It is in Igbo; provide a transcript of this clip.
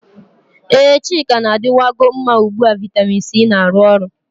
Ee, chika na-adịwan go mma ugbu a vitamin C na-arụ ọrụ.